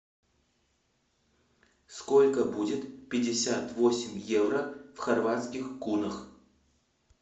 сколько будет пятьдесят восемь евро в хорватских кунах